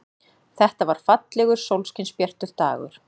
Þetta var fallegur, sólskinsbjartur dagur.